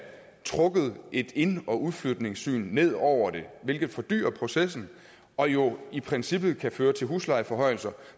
trukket et ind og udflytningssyn ned over det hvilket fordyrer processen og jo i princippet føre til huslejeforhøjelser